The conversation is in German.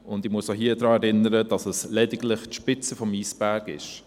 Ich muss auch hier daran erinnern, dass es lediglich die Spitze des Eisbergs ist.